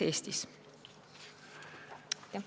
Aitäh!